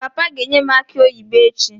Papa ga-enye m aki oyibo echi